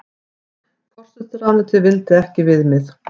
Forsætisráðuneytið vildi ekki viðmið